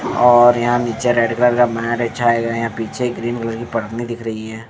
और यहाँ नीचे रेड कलर का मैट बिछाया गया है पीछे ग्रीन कलर की परनी दिख रही हैं ।